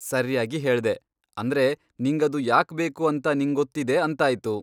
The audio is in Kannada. ಸರ್ಯಾಗಿ ಹೇಳ್ದೆ, ಅಂದ್ರೆ ನಿಂಗದು ಯಾಕ್ಬೇಕು ಅಂತ ನಿಂಗೊತ್ತಿದೆ ಅಂತಾಯ್ತು.